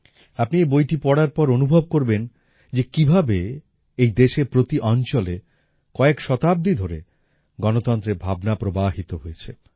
আপনি এই বইটি পড়ার পর অনুভব করবেন যে কিভাবে এই দেশের প্রতি অঞ্চলে কয়েক শতাব্দি ধরে গণতন্ত্রের ভাবনা প্রবাহিত হয়েছে